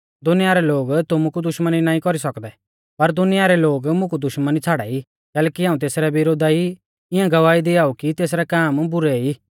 दुनिया रै लोग तुमु कु दुश्मनी नाईं कौरी सौकदै पर दुनिया रै लोग मुकु दुश्मनी छ़ाड़ाई कैलैकि हाऊं तेसरै विरोधा ई इऐं गवाही दिआऊ कि तेसरै काम बुरै ई